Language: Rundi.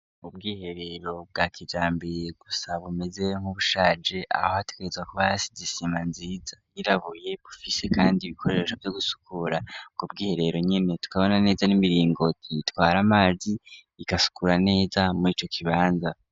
Ubwiherero bwa kijambere gusa bumeze nk'ubushaje aho ategerezwa kubasi igisima nziza yirabuye bufise kandi ibikoresho byo gusukura ku bwiherero nyine tukabona neza n'imiringoti itwara amazi ikasukura neza muri ico kibanza.